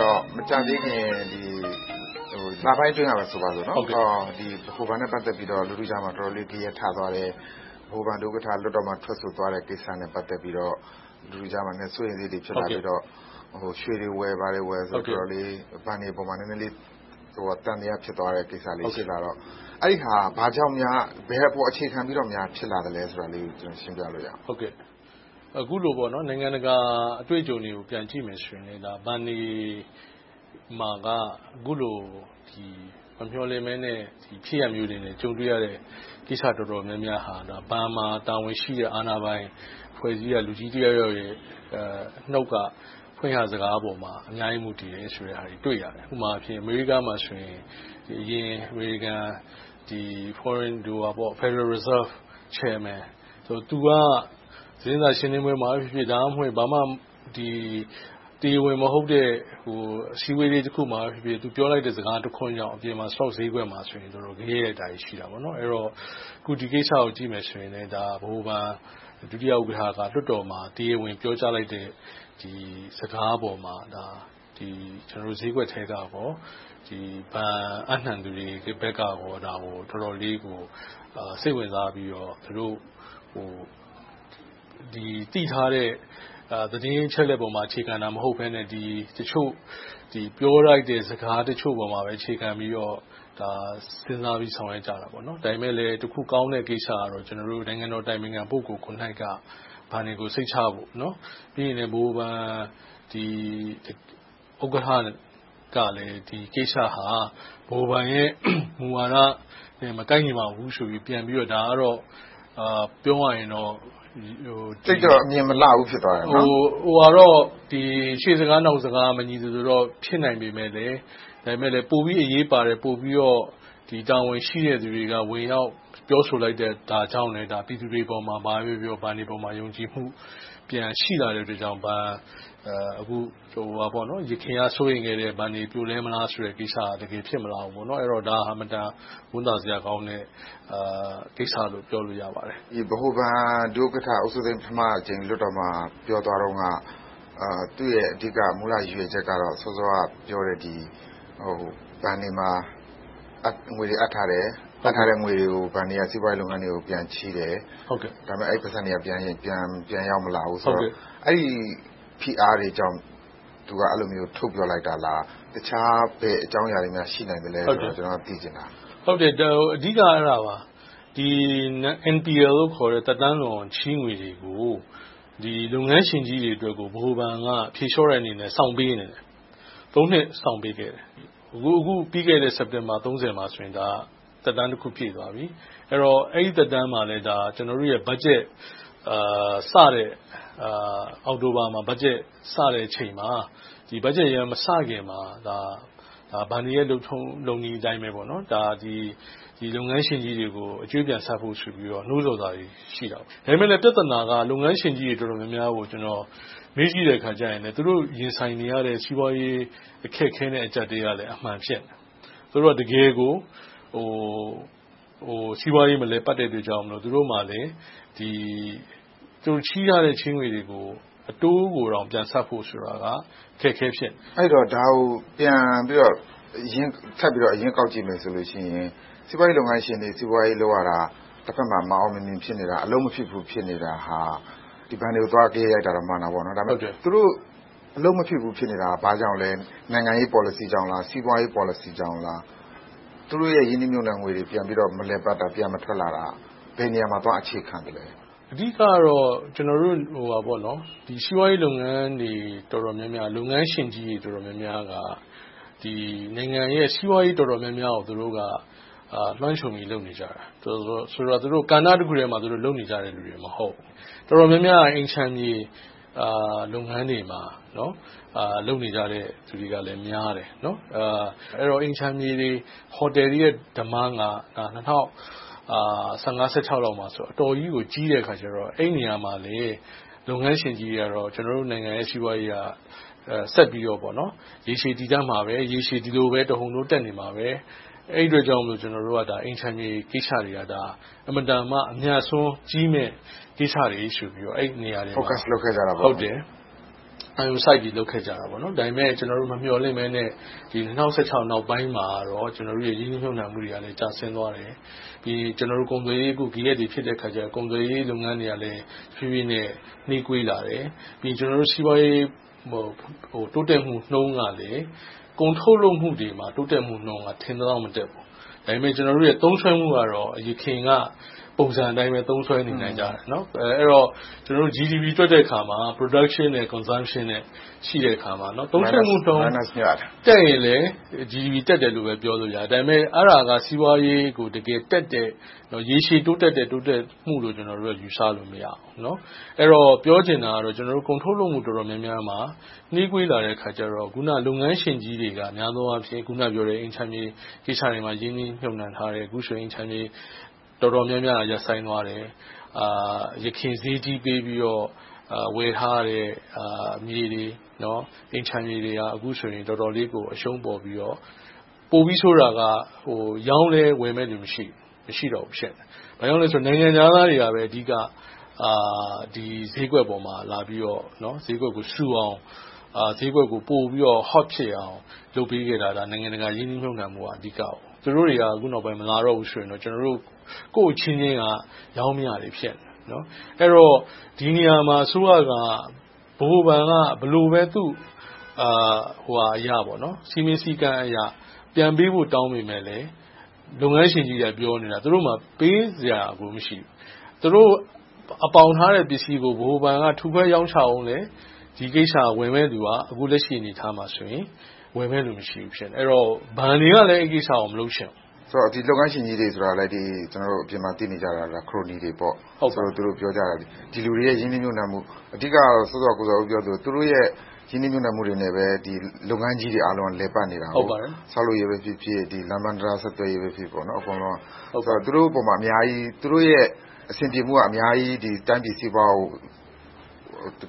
တော့ မကြာသေးခင် လပိုင်းအတွင်းက ဆိုပါစို့.. ဗဟိုဘဏ်နဲ့ ပတ်သက်ပြီးတော့ လူထုကြားမှာ တော်တော်လေး ဂယက်ရိုက်သွားတဲ့၊ ဗဟိုဘဏ် ဒု-ဥက္ကဋ္ဌ လွှတ်တော်မှာ ထွက်ဆိုသွားတာနဲ့ ပတ်သက်ပြီးတော့ လူထုကြားမှာ စိုးရိမ်စိတ်ကလေးတွေ ဖြစ်မိတော့ ရွှေတွေဝယ်၊ ဘာတွေဝယ်ဆိုပြီးတော့ တော်တော်လေး ဘဏ်တွေအပေါ် နည်းနည်းလေး သံသယ ဖြစ်သွားတဲ့ကိစ္စ ဖြစ်လာတော့၊ အဲဒီဟာ ဘာကြောင့်များ၊ ဘယ်အပေါ် အခြေခံပြီးတော့ ဖြစ်ပေါ်လာသလဲဆိုတာလေးကို ရှင်းပြပေးပါ။ အခုလို နိုင်ငံတကာအတွေ့အကြုံတွေကို ပြန်ကြည့်မယ်ဆိုရင် ဘဏ်တွေမှာ အခုလို မမျှော်လင့်တဲ့ ဖြစ်ရပ်မျိုးတွေနဲ့ ကြုံတွေ့ရတဲ့ ကိစ္စရပ်တွေက ဘဏ်မှာတာဝန်ရှိတဲ့ အာဏာပိုင်အဖွဲ့အစည်းရဲ့ လူကြီးတယောက်ယောက်ရဲ့ နှုတ်က ဖွင့်ဟစကားပေါ်မှာ အများကြီး မူတည်တယ်ဆိုတာကို တွေ့ရတယ်။ ဥပမာ - အမေရိကမှာဆိုရင် Federal Reserve Chairman သူက သတင်းစာရှင်းလင်းပွဲမှာဖြစ်ဖြစ်၊ သို့မဟုတ် ဘာမှမဟုတ်တဲ့ တရားဝင်မဟုတ်တဲ့ အစည်းအဝေးတခုခုမှာဖြစ်ဖြစ် သူပြောလိုက်တဲ့ စကားတခွန်ကြောင့် အပြင်မှာ စတော့ဈေးကွက်မှာ တော်တော်လေးဂယက်ရိုက်တာတွေ ရှိတယ်။ အဲဒီတော့ ဒီကိစ္စကို ကြည့်မယ်ဆိုရင် ဗဟိုဘဏ် ဒုတိယဥက္ကဋ္ဌက လွှတ်တော်မှာ တရားဝင်ပြောကြားလိုက်တဲ့ စကားပေါ်မှာ ဈေးကွက်ထဲမှာနဲ့ ဘဏ်အပ်နံှသူတွေဘက်က တော်တော်လေးကို စိတ်ဝင်စားကြပြီး၊ သူတို့သိထားတဲ့ သတင်းအချက်အလက်ပေါ်မှာ အခြေခံတာ မဟုတ်ဘဲနဲ့ တချို့ပြောလိုက်တဲ့ စကားတချို့ပေါ် အခြေခံပြီးတော့ စဉ်းစားပြီး ဆောင်ရွက်ကြတာ။ ဒါပေမဲ့ တစ်ခုကောင်းတဲ့ ကိစ္စကတော့ နိုင်ငံတော်အတိုင်ပင်ခံ ပုဂ္ဂိုလ်ကိုယ်တိုင်က ဘဏ်တွေကို စိတ်ချဖို့။ ပြီးနောက် ဗဟိုဘဏ်ဥက္ကဋ္ဌကလည်း ဒီကိစ္စဟာ ဗဟိုဘဏ်ရဲ့ မူဝါဒနဲ့ မကိုက်ညီပါဘူးဆိုပြီး ပြောပါတယ်။ ဒါကတော့ ပြောရရင်တော့ ရှေ့စကား၊ နောက်စကား မညီသလိုဖြစ်ပေမယ့်လဲ ပိုပြီးအရေးပါတဲ့၊ ပိုပြီးတာဝန်ရှိတဲ့လူတွေက ဝင်ရောက်ဆိုလိုက်တဲ့အတွက် ပြည်သူတွေအနေနဲ့ ဘဏ်တွေအပေါ် ယုံကြည်မှု ပိုရှိလာတာကြောင့် ယခင်က စိုးရိမ်ခဲ့တဲ့ဘဏ်တွေ ပြိုလဲမလားဆိုတဲ့ကိစ္စက တကယ်ဖြစ်မလာဘူး။ ဒါဟာ အင်မတန်ဝမ်းသာစရာကောင်းတဲ့ ကိစ္စလို့ ပြောလို့ရပါတယ်။ ဗဟိုဘဏ်ဒုဥက္ကဋ္ဌ ဦးစိုးသိန်းက ပထမအကြိမ် လွှတ်တော်မှာ ပြောသွားတုန်းက သူ့ရဲ့ အဓိက မူလရည်ရွယ်ချက်ကတော့ စောစောကပြောတဲ့ ဘဏ်တွေမှာ ငွေတွေအပ်ထားတယ်။ အပ်ထားတဲ့ငွေတွေကို စီးပွားရေးလုပ်ငန်းတွေကို ပြန်ချေးတယ်။ ဒါပေမဲ့ အဲဒီပိုက်ဆံတွေက ပြန်ရောက်မလာဘူး။ အဲဒီဖိအားတွေကြောင့် သူက အဲဒီလို ထုတ်ပြောလိုက်တာလား။ တခြားဘယ်အကြောင်းအရာတွေများ ရှိနိုင်သေးလဲလို့ သိချင်တာပါ။ အဓိကတော့ nonperforming loan လို့ခေါ်တဲ့ သက်တမ်းလွန်ချေးငွေတွေကို လုပ်ငန်းရှင်ကြီးတွေအတွက်ကို ဗဟိုဘဏ်က ဖြေလျှော့တဲ့အနေနဲ့ စောင့်ပေးနေခဲ့တယ်။ နှစ် စောင့်ပေးခဲ့တယ်။ အခုပြီးခဲ့တဲ့ စက်တင်ဘာလ မှာဆိုရင် သက်တမ်းတခု ပြည့်သွားပြီ။ အဲဒီတော့ အဲဒီသက်တမ်းမှာလဲ အောက်တိုဘာမှာစတဲ့ ဘတ်ဂျက် မစသေးတဲ့အချိန်မှာ ဘဏ်တွေရဲ့ လုပ်ထုံးလုပ်နည်းအတိုင်းပဲ လုပ်ငန်းရှင်ကြီးတွေကို အကြွေးပြန်ဆပ်ဖို့ဆိုပြီး နိုးဆော်စာတွေ ရှိခဲ့တယ်။ ဒါပေမဲ့ ပြဿနာက လုပ်ငန်းရှင်ကြီးတွေ တော်တော်များများကို ကျနော် မေးကြည့်တဲ့အခါမှာ သူတို့ရင်ဆိုင်နေရတဲ့ စီးပွားရေးနဲ့ အကျပ်အတည်းကလည်း အမှန်ဖြစ်နေတယ်။ သူတို့က စီးပွားရေး တကယ်ကိုမလည်ပတ်နိုင်တဲ့အတွက် သူတို့မှာလည်း ချေးထားတဲ့ချေးငွေတွေကို အတိုးကိုတောင် ပြန်ဆပ်ဖို့ဆိုတာက အခက်အခဲ ဖြစ်နေတယ်။ အဲဒီတော့ ဒါကိုပြန်ပြီးတော့ အရင်းကောက်ကြည့်မယ်ဆိုရင် စီးပွားရေးလုပ်ငန်းရှင်တွေ စီးပွားရေးလုပ်ရတာ၊ တဘက်မှာ မအောင်မမြင် ဖြစ်နေတာ၊ အလုပ်မဖြစ်ဘူး ဖြစ်နေတာ ဘဏ်တွေကို သွားဂယက်ရိုက်တော့ မှန်တာပေါ့။ ဒါပေမဲ့ သူတို့အလုပ်မဖြစ်ဘူး ဖြစ်နေတာ ဘာကြောင့်လဲ နိုင်ငံရေးပေါ်လစီကြောင့်လား။ စီးပွားရေးပေါ်လစီကြောင့်လား။ သူတို့ရဲ့ ရင်းနှီးမြုပ်နံှငွေတွေ ပြန်ပြီးတော့ မလည်ပတ်တာ၊ ပြန်မထွက်လာတာ ဘယ်နေရာမှာ သွားပြီးတော့ အခြေခံသလဲ။ အဓိကတော့ ကျနော်တို့ စီးပွားရေးလုပ်ငန်းတွေ တော်တော်များများက လုပ်ငန်းရှင်ကြီးတွေ တော်တော်များများက နိုင်ငံရဲ့ စီးပွားရေးတော်တော်များများကို သူတို့က လွှမ်းခြုံပြီး လုပ်နေကြတာ။ ဆိုတော့ သူတို့က ကဏ္ဍတစ်ခုထဲမှာ လုပ်နေကြတာ မဟုတ်ဘူး။ တော်တော်များများက အိမ်ခြံမြေ လုပ်ငန်းတွေမှာ လုပ်နေကြတဲ့လူတွေကလည်း များတယ်။ ဆိုတော့ အိမ်ခြံမြေတွေ၊ ဟိုတယ်တွေရဲ့ တောင်းဆိုချက်က ၂၀၁၅-၁၆ လောက်မှာ တော်တော်ကြီးကို ကြီးတဲ့အခါကြတော့ အဲဒီနေရာမှာ လုပ်ငန်းရှင်ကြီးတွေက ကျနော်တို့နိုင်ငံရဲ့ စီးပွားရေးက ဆက်ပြီးတော့ ရေရှည်တည်တန့်မှာပဲ၊ ရေရှည်ဒီလိုပဲ တဟုန်းထိုး တက်နေမှာပဲ။ အဲဒီအတွက်ကြောင့်မို့ ကျနော်တို့က အိမ်ခြံမြေကိစ္စတွေက အင်မတန်မှ အမြတ်အစွန်းကြီးမယ့် ကိစ္စတွေဆိုပြီး အဲဒီနေရာတွေကို အဓိကထား လုပ်ခဲ့ကြတယ်။ ဒါပေမဲ့ မမျှော်လင့်ဘဲနဲ့ ၂၀၁၆ နောက်ပိုင်းမှာတော့ ရင်းနှီးမြုပ်နံှမှုတွေကလည်း ကျဆင်းသွားတယ်။ ကုန်သွယ်ရေးဂယက်တွေ ဖြစ်တဲ့အခါကြတော့ ကုန်သွယ်ရေးလုပ်ငန်းတွေကလည်း တဖြည်းဖြည်းနဲ့ နှေးကွေးလာတယ်။ ပြီးနောက် စီးပွားရေး တိုးတက်မှုနှုန်းကလည်း ကုန်ထုတ်လုပ်မှုတွေမှာ တိုးတက်မှုနှုန်းက ထင်သလောက် မတက်ဘူး။ ဒါပေမဲ့ ကျနော်တို့ရဲ့ သုံးစွဲမှုကတော့ ယခင်က ပုံစံအတိုင်းပဲ သုံးစွဲနေနိုင်ကြတယ်။ အဲဒီတော့ ကျနော်တို့ Gross Domestic Product တွက်တဲ့အခါမှာ production and consumption ရှိတဲ့အခါမှာ သုံးစွဲမှုနှုန်း တက်ရင်လဲ GDP တက်တယ်လို့ပဲ ပြောလို့ရတယ်။ ဒါပေမဲ့ အဲဒါက စီးပွားရေးကို တကယ်တက်တဲ့ ရေရှည်တိုးတက်တဲ့ တိုးတက်မှုလို့ ကျနော်တို့က ယူဆလို့မရဘူး။ ပြောချင်တာက ကျနော်တို့ ကုန်ထုတ်လုပ်မှု တော်တော်များများမှာ နှေးကွေးလာတဲ့အခါကြတော့ အခုန လုပ်ငန်းရှင်ကြီးတွေက များသောအားဖြင့် အိမ်ခြံမြေကိစ္စတွေမှာ ရင်းနှီးမြုပ်နံှထားတယ်။ အခုဆိုရင် အိမ်ခြံမြေ ရောင်းဝယ်ရေး တော်တော်များများက ရပ်ဆိုင်းသွားတယ်။ ယခင်ဈေးကြီးပေးပြီး ဝယ်ထားတဲ့ အိမ်ခြံမြေတွေက တော်တော်လေးကို အရှုံးပေါ်ပြီးတော့ ပိုပြီးဆိုးတာက ရောင်းလည်းဝယ်မယ့်လူ မရှိတော့ဘူး ဖြစ်နေတယ်။ ဘာကြောင့်လဲဆိုတော့ နိုင်ငံခြားသားတွေကပဲ အဓိက ဒီဈေးကွက်ပေါ်မှာ ဈေးကွက်ဆူအောင်၊ ဈေးကွက်ကို ပိုပြီးတော့ Hot ဖြစ်အောင်၊ လုပ်ပေးခဲ့တာ နိုင်ငံတကာရင်းနှီးမြုပ်နံှမှုက အဓိက ဖြစ်ခဲ့တယ်။ သူတို့တွေက အခုနောက်ပိုင်းမှာ မလာတော့ဘူးဆိုရင်တော့ ကျနော်တို့ ကိုယ့်အချင်းချင်းက ရောင်းမရတွေ ဖြစ်နေခဲ့တယ်။ အဲဒီတော့ ဒီနေရာမှာ အစိုးရက ဗဟိုဘဏ်က ဘယ်လိုပဲ သူ့စည်းမျဉ်းစည်းကမ်းအရ ပြန်ပေးဖို့ တောင်းပေမယ့်လဲ လုပ်ငန်းရှင်ကြီးတွေက ပြောနေတာ သူတို့ဆီမှာ ပေးစရာကို မရှိဘူး။ သူတို့အပေါင်ခံထားတဲ့ ပစ္စည်းတွေကို ဗဟိုဘဏ်က ထုခွဲရောင်းချလဲ ဒီပစ္စည်းတွေကို ဝယ်မယ့်လူက အခုလက်ရှိ အနေအထားမှာဆိုရင် ဝယ်မယ့်လူ မရှိဘူး ဖြစ်နေတယ်။ ဘဏ်တွေကလည်း အဲဒီကိစ္စကို မလုပ်ချင်ကြဘူး။ လုပ်ငန်းရှင်ကြီးတွေဆိုတာလဲ ကျနော်တို့ အပြင်မှာ သိနေကြတာက ခရိုနီတွေပေါ့။ သူတို့ပြောကြတာက ဒီလူတွေရဲ့ ရင်းနှီးမြုပ်နံှမှု။ အဓိကတော့ စောစောက ကိုဇော်ဦး ပြောသလို သူတို့ရဲ့ ရင်းနှီးမြုပ်နံှမှုတွေနဲ့ပဲ ဒီလုပ်ငန်းကြီးတွေအားလုံးက လည်ပတ်နေတယ်။ ဆောက်လုပ်ရေးပဲဖြစ်ဖြစ်၊ လမ်းပန်ဆက်သွယ်ရေးပဲဖြစ်ဖြစ် အကုန်လုံးက သူတို့ပေါ်မှာ အများကြီး၊ သူတို့ရဲ့ အဆင်ပြေမှုက အများကြီး တိုင်းပြည်စီးပွားကို